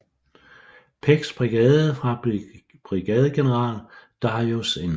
Pecks brigade fra brigadegeneral Darius N